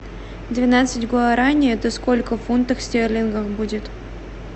двенадцать гуараней это сколько фунтов стерлингов будет